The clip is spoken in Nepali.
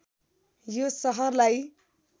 यो सहरलाई